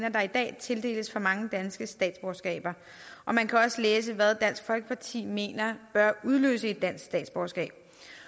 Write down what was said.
at der i dag tildeles for mange danske statsborgerskaber og man kan også læse hvad dansk folkeparti mener bør udløse et dansk statsborgerskab